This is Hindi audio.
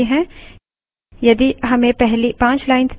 अब पहली दस lines प्रदर्शित हुई हैं